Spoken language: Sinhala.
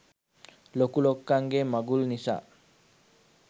ලොකු ලොක්කන්ගේ මගුල් නිසා.